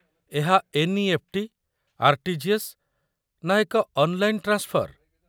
ଏହା NEFT., RTGS., ନା ଏକ ଅନ୍‌ଲାଇନ୍‌ ଟ୍ରାନ୍ସଫର୍ ?